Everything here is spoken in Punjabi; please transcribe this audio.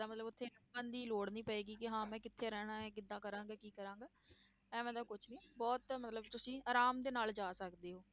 ਮਤਲਬ ਉੱਥੇ ਕਰਨ ਦੀ ਲੋੜ ਨਹੀਂ ਪਏਗਾ ਕਿ ਹਾਂ ਮੈਂ ਕਿੱਥੇ ਰਹਿਣਾ ਹੈ ਕਿੱਦਾਂ ਕਰਾਂਗੇ ਕੀ ਕਰਾਂਗੇ, ਐਵੇਂ ਦਾ ਕੁਛ ਨੀ ਬਹੁਤ ਮਤਲਬ ਤੁਸੀਂ ਆਰਾਮ ਦੇ ਨਾਲ ਜਾ ਸਕਦੇ ਹੋ।